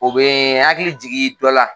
U bɛ hakili jigin dɔ la.